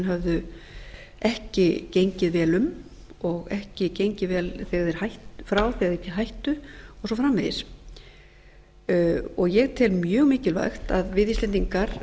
höfðu ekki gengið vel um og ekki gengið vel frá þegar þeir hættu og svo framvegis ég tel mjög mikilvægt að við íslendingar